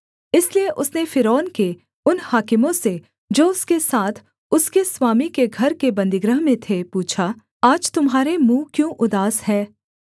इसलिए उसने फ़िरौन के उन हाकिमों से जो उसके साथ उसके स्वामी के घर के बन्दीगृह में थे पूछा आज तुम्हारे मुँह क्यों उदास हैं